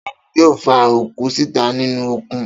Ta ni yóò fa òkú síta nínú òkun?